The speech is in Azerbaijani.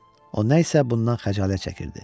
O nə isə bundan xəcalət çəkirdi.